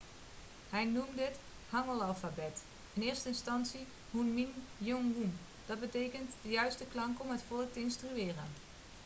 hij noemde het hangeulalfabet in eerste instantie hunmin jeongeum dat betekent de juiste klanken om het volk te instrueren'